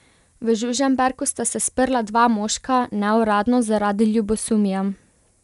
V Žužemberku sta se sprla dva moška, neuradno zaradi ljubosumja.